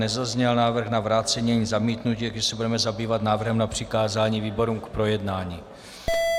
Nezazněl návrh na vrácení ani zamítnutí, takže se budeme zabývat návrhem na přikázání výborům k projednání.